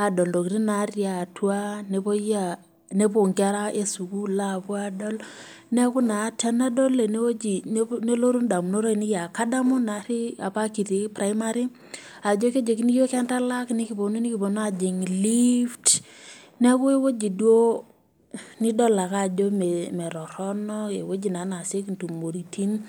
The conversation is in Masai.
intotin natii atua, nepoi sii inkera esukuul aadol neeku naa tenadol enewoji nelotu indamunot ainei aa kadamu naari apa kitii primary ajo kejokini iyiook entalak nekiponu aajing lift neeku ewoji duo ajo meetorono, ewoji naa neasioki intumoritin,